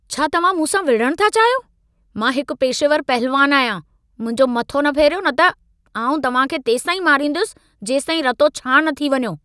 छा तव्हां मूंसां विड़हणु था चाहियो? मां हिकु पेशेवरु पहलवानु आहियां। मुंहिंजो मथो न फेरियो न त, आउं तव्हां खे तेसींताईं मारींदुसि, जेसींताईं रतो छाणि न थी वञो।